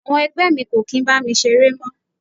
Àwọn ẹgbẹ́ mi kò kí ń bá mi ṣeré mọ́.